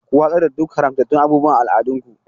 Ku watsar da duk haramtattun abubuwan al'adunku.